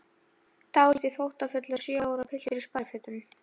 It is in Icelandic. Dálítið þóttafullur sjö ára piltur í sparifötum.